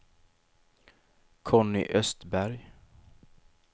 Conny Östberg